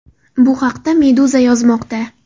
Bu haqda Meduza yozmoqda .